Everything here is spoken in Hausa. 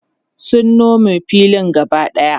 sun Nome filin gaba ɗaya